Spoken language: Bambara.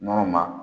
Nɔnɔ ma